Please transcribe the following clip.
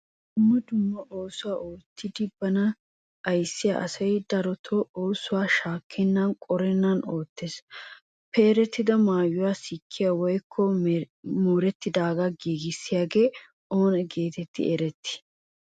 Dumma dumma oosuwaa oottidi bana ayssiya asay darotoo oosuwa shakkenan qorennan oottees. Peeretida maayuwa sikkiya woykko mooretidaaga giigissiyagee oona getetti eretti?